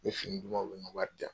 U bɛ fini duman, u bɛ nka wari' diyan.